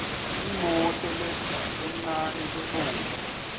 imoto lencane lebovu